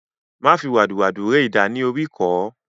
Má fi wàdùwàdù ré idà ní oríkọ̀ọ́